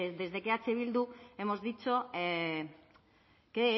desde que eh bildu hemos dicho que